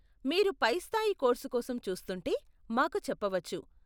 మీరు పైస్థాయి కోర్సు కోసం చూస్తుంటే, మాకు చెప్పవచ్చు.